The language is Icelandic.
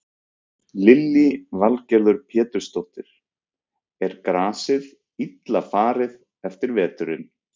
Lillý Valgerður Pétursdóttir: Er grasið illa farið eftir veturinn?